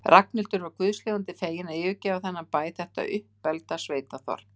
Ragnhildur var guðs lifandi fegin að yfirgefa þennan bæ, þetta uppbelgda sveitaþorp.